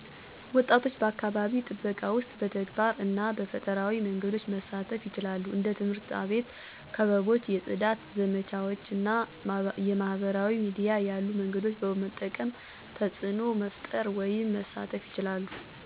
ወጣቶች በአካባቢ ጥበቃ ውስጥ በተግባር እና በፈጠራዊ መንገዶች መሳተፉ ይችላሉ። እንደ ትምህርት አቤት ክበቦች የፅዳት ዘመቻዎች እና የማህበራዊ ሚዲያ ያሉ መንገዶችን በመጠቀም ተፅዕኖ መፈጠር ወይም መሳተፍ ይችላሉ። ምሳሌዎች፦ ትምህርት ቤት ክበቦች የከተማ ወይም የሰፈር ጥበቃ ላይ መሳተፍቸው፣ እሁድ ለጽዳት የሚሉ ወጣቶች ማየቲ፣ አትክልት የመትከል ዘመቻ ወይም አረንጓዴ አሻራ ዘመቻ ለይ መሳተፉ ማየት ለኔ ተምሳሌት ናቸው። በአጠቃላይ በአካባቢ ጠበቃ ለይ የበለጠ ተሳትፎ ለማድርግ በቡድን፣ በፈጠራና በቴክኖሎጂ በመጠቀም መሳተፍ ይቻላሉ።